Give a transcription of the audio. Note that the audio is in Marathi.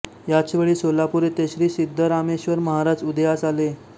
याच वेळी सोलापूर येथे श्री सिद्धरामेश्वर महाराज उदयास आले